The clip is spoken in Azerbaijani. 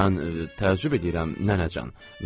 Mən təəccüb edirəm nənəcan.